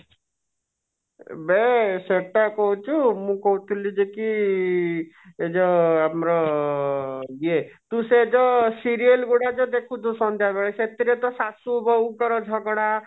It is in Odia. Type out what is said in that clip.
ବେ ସେଟା କହୁଛୁ ମୁଁ କହୁଥିଲି ଯେ କି ଯାହା ଆମର ଇଏ ତୁ ସେ ଜୋ serial ଗୁଡାକ ଦେଖୁଛୁ ସନ୍ଧ୍ୟାଯାଏ ସେଥିରେ ତ ଶାଶୁ ବୋହୁ ଙ୍କର ଝଗଡା